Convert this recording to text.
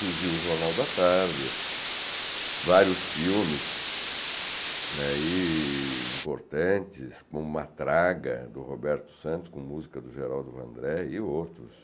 Surgiu o Jornal da Tarde, vários filmes ai importantes, como Matraga, do Roberto Santos, com música do Geraldo Vandré e outros.